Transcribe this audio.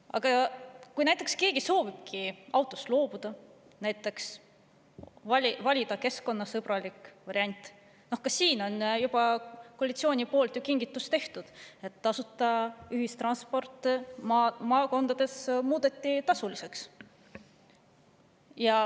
Aga kui keegi näiteks soovibki autost loobuda ja valida keskkonnasõbraliku variandi, siis ka siin on ju koalitsioon teinud kingituse: tasuta ühistransport muudeti maakondades tasuliseks.